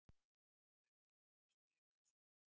Reiknar hann með að spila í sumar?